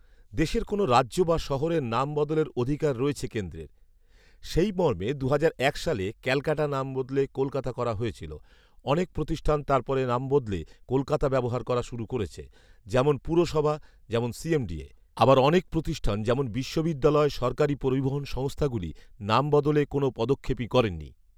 দেশের কোনও রাজ্য বা শহরের নাম বদলের অধিকার রয়েছে কেন্দ্রের৷ সেই মর্মে দুহাজার এক সালে ক্যালকাটা নাম বদলে কলকাতা করা হয়েছিল৷ অনেক প্রতিষ্ঠান তারপর নাম বদলে কলকাতা ব্যবহার করা শুরু করেছে৷ যেমন পুরসভা, যেমন সিএমডিএ৷ আবার অনেক প্রতিষ্ঠান যেমন বিশ্ববিদ্যালয়, সরকারি পরিবহণ সংস্থাগুলি নাম বদলে কোনও পদক্ষেপই করেনি৷